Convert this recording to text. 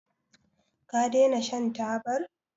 ka dena shan tabar?